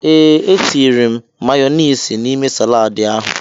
Ee, e tiri m mayọniisi n'ime saladi ahụ.